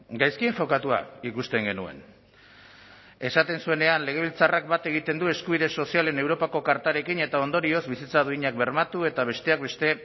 gaizki enfokatua ikusten genuen esaten zuenean legebiltzarrak bat egiten du eskubide sozialen europako kartarekin eta ondorioz bizitza duinak bermatu eta besteak beste